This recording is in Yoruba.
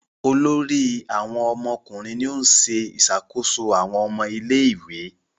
Olórí àwọn ọmọkùnrin ní o ṣe ìṣàkóso àwọn ọmọ ilé ìwé.